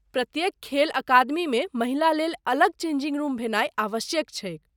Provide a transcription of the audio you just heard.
प्रत्येक खेल अकादमीमे महिला लेल अलग चेंजिंग रूम भेनाइ आवश्यक छैक।